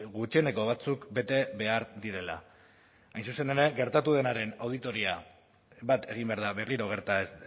gutxieneko batzuk bete behar direla hain zuzen ere gertatu denaren auditoria bat egin behar da berriro gerta ez